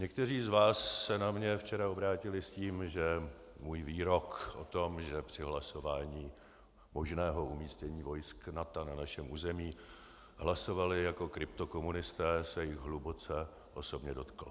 Někteří z vás se na mě včera obrátili s tím, že můj výrok o tom, že při hlasování možného umístění vojsk NATO na našem území hlasovali jako kryptokomunisté, se jich hluboce osobně dotkl.